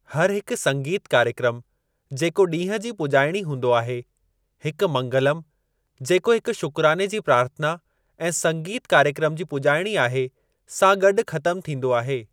हर हिकु संगीतु कार्यक्रमु जेको ॾींहं जी पुॼाइणी हूंदो आहे , हिकु मंगलम, जेको हिकु शुकराने जी प्रार्थना ऐं संगीतु कार्यक्रमु जी पुॼाइणी आहे, सां गॾु ख़तमु थींदो आहे।